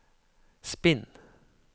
spinn